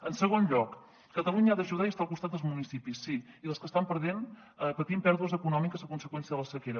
en segon lloc catalunya ha d’ajudar i estar al costat dels municipis sí i dels que estan patint pèrdues econòmiques a conseqüència de la sequera